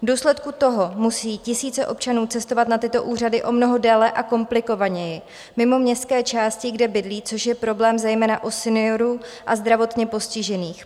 V důsledku toho musí tisíce občanů cestovat na tyto úřady o mnoho déle a komplikovaněji, mimo městské části, kde bydlí, což je problém zejména u seniorů a zdravotně postižených.